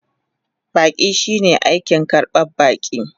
Baƙi shine aikin karban baƙi.